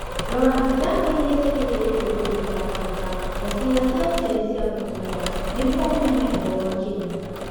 Rora ndawa iria ciĩtĩkĩrĩtio kũrigita kanca ya ciĩga cia ũciari cia mũtumia nĩguo ũmenye ũhoro makĩria.